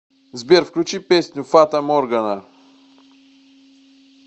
сбер включи песня фата моргана